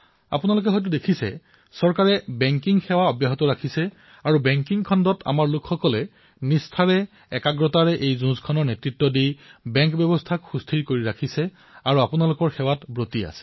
আপোনালোকে দেখিছে যে বেংকিং সেৱা চৰকাৰে চলাই ৰাখিছে আৰু বেংকিং ক্ষেত্ৰত আমাৰ লোকসকলে সম্পূৰ্ণ নিষ্ঠাৰে আপোনালোকৰ সেৱাত ব্ৰতী হৈ আছে